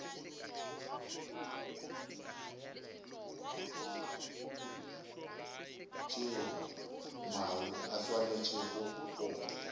tšeo mae a swanetšego go